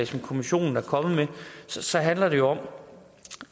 som kommissionen er kommet med så handler det om